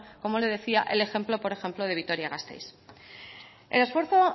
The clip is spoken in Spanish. con como le decía el ejemplo por ejemplo de vitoria gasteiz el esfuerzo